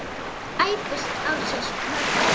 æpti Ási Möggu.